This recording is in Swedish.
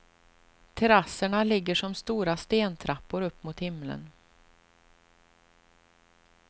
Terrasserna ligger som stora stentrappor upp mot himlen.